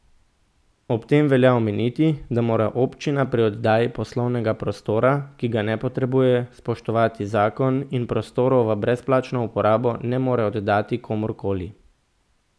Ob tem velja omeniti, da mora občina pri oddaji poslovnega prostora, ki ga ne potrebuje, spoštovati zakon in prostorov v brezplačno uporabo ne more oddati komur koli.